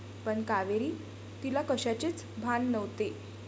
पण कावेरी. तिला कशाचेच भान नव्हते.